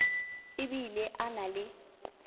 e bile a na le